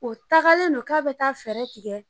O tagalen don ka bɛ taa fɛɛrɛ tigɛ